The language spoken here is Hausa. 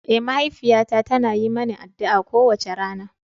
Eh, mahaifiyata tana yi mani addu'a kowace rana.